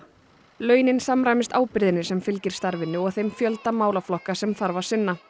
launin samræmist ábyrgðinni sem fylgir starfinu og þeim fjölda málaflokka sem þarf að sinna